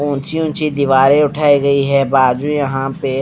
ऊंची ऊंची दीवारे उठाई गई है बाजू यहां पे--